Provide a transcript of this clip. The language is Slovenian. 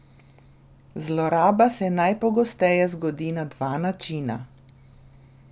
Zloraba se najpogosteje zgodi na dva načina.